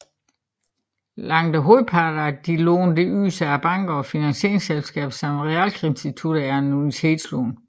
Langt hovedparten af de lån der ydes af banker og finansieringsselskaber samt realkreditinstitutter er annuitetslån